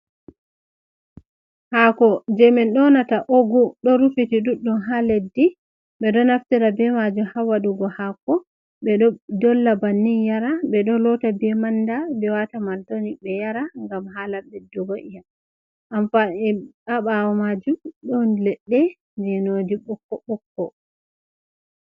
Hako je min donata ogu, do rufiti duddum ha leddi be do naftira be maju ha wadugo hako, be do dolla bannin yara be do lotta be manda be wata mal toni be yara gam hala beddugo yam amfa e abawo maju don ledde genoji bokko.